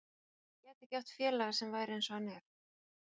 Hann gæti ekki átt félaga sem væri eins og hann er.